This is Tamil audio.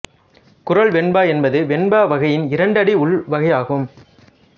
குறள் வெண்பா என்பது வெண்பா வகையின் இரண்டு அடி உள்வகையாகும்